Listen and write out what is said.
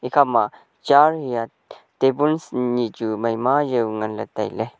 ekhama chair hia tabuls nyi chu maima jaw nganley tailey.